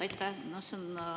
Aitäh!